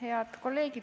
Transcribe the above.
Head kolleegid!